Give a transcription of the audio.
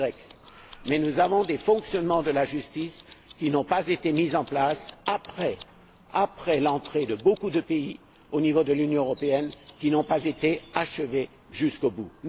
Y, mais nous avons des fonctionnements de la justice qui n'ont pas été mis en place après l'entrée de beaucoup de pays, au niveau de l'Union européenne, qui n'ont pas été achevés jusqu'au bout.